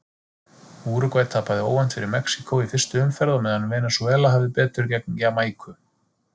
Úrúgvæ tapaði óvænt fyrir Mexíkó í fyrstu umferð á meðan Venesúela hafði betur gegn Jamaíku.